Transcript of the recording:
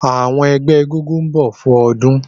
Àwọn ẹgbẹ́ egúngún ń bọ̀ fún ọdún